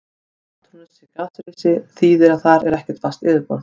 Að Satúrnus sé gasrisi þýðir að þar er ekkert fast yfirborð.